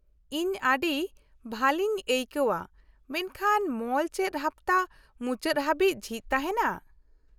- ᱤᱧ ᱟᱹᱰᱤ ᱵᱷᱟᱞᱤᱧ ᱟᱹᱭᱠᱟᱹᱣᱟ ᱢᱮᱱᱠᱷᱟᱱ ᱢᱚᱞ ᱪᱮᱫ ᱦᱟᱯᱛᱟ ᱢᱩᱪᱟᱹᱫ ᱦᱟᱵᱤᱡ ᱡᱷᱤᱡ ᱛᱟᱦᱮᱱᱟ ?